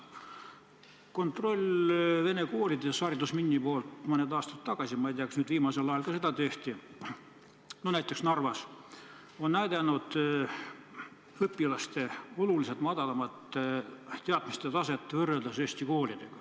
Haridusministeeriumi tehtud kontroll vene koolides – see oli mõni aasta tagasi, ma ei tea, kas seda nüüd viimasel ajal ka on tehtud –, näiteks Narvas, on näidanud õpilaste oluliselt madalamat teadmiste taset kui eesti koolides.